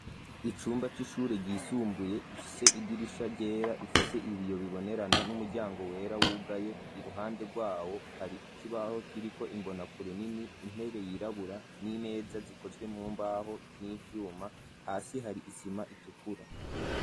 Icumba c'ishure ryisumbuye gifise idirisha ryera rifise ibiyo bibonerana n'umuryango wera wugaye ,iruhande rwawo hari ikibaho kiriko imbona kure nini, intebe yirabura n'imeza zikozwe mumbaho n'ivyuma hasi hari isima itukura.